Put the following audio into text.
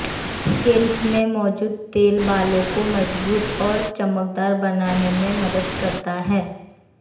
scalp में मौजूद तेल बालों को मजबूत और चमकदार बनाने में मदद करता है